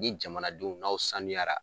Ni jamanadenw n'aw sanuyara